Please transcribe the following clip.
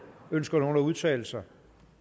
ønsker nogen at udtale sig